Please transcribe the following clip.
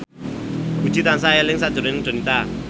Puji tansah eling sakjroning Donita